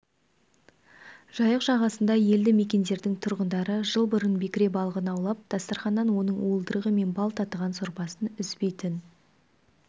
жайық жағасындағы елді мекендердің тұрғындары жыл бұрын бекіре балығын аулап дастарқаннан оның уылдырығы мен бал татыған сорпасын үзбейтін